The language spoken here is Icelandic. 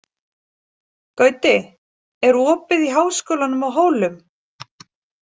Gauti, er opið í Háskólanum á Hólum?